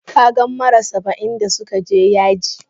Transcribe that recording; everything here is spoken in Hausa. Ka gan mara Saba'in da su ka je yaji?